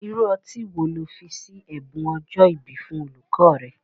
Irú ọtí wo ni ó fi ṣe ẹ̀bùn ọjọ́ ìbí fún olùkọ́ rẹ?